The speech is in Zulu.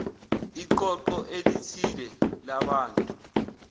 iqoqo elithile labantu